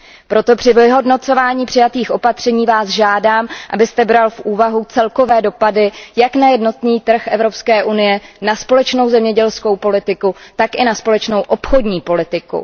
Proto při vyhodnocování přijatých opatření vás žádám, abyste bral v úvahu celkové dopady jak na jednotný trh Evropské unie, na společnou zemědělskou politiku, tak i na společnou obchodní politiku.